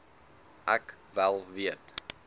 ek wel weet